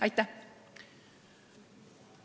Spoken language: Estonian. Aitäh!